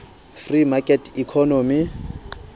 free market economy